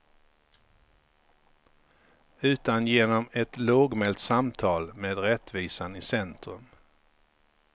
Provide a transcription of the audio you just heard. Utan genom ett lågmält samtal med rättvisan i centrum.